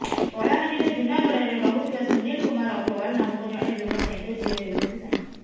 କଳାହାଣ୍ଡିର ଜୁନାଗଡରେ ରହୁଥିବା ସୁନିଲ କୁମାର ଅଗ୍ରୱାଲ୍ ନାମକ ଜଣେ ବ୍ୟବସାୟୀଙ୍କ ଝିଅ ହେଉଛନ୍ତି ସାଇନା